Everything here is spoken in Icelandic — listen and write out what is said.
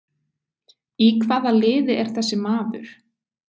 Í hvaða liði er þessi maður?